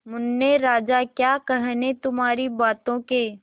मुन्ने राजा क्या कहने तुम्हारी बातों के